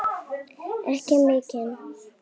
Ekki mikinn.